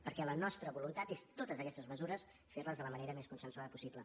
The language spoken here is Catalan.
perquè la nostra voluntat és totes aquestes mesures fer les de la manera més consensuada possible